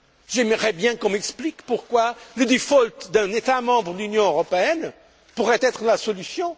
J'aimerais bien qu'on m'explique pourquoi le default d'un État membre de l'Union européenne pourrait être la solution.